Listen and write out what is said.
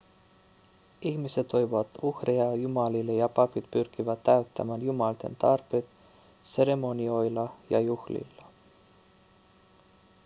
ihmiset toivat uhreja jumalille ja papit pyrkivät täyttämään jumalten tarpeet seremonioilla ja juhlilla